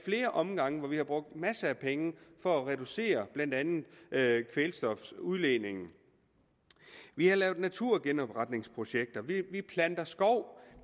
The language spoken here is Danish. flere omgange brugt masser af penge for at reducere blandt andet kvælstofudledningen vi har lavet naturgenopretningsprojekter vi planter skov